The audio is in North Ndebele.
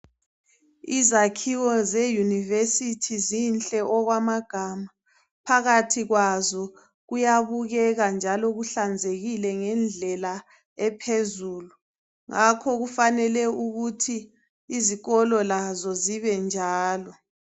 Izakiwo zeuniversithi zinhle okwamagama phakathi kwazo kuyabubeka njalo kuhlanzekile ngendlela ephezulu ngakho kufanele ukuthi izikolo lazo zibenjalo